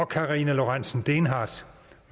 karina lorentzen dehnhardt